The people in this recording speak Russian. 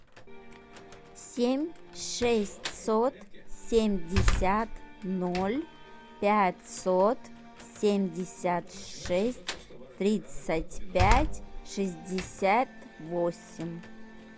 семь шестьсот семьдесят ноль пятьсот семьдесят шесть тридцать пять шестьдесят восемь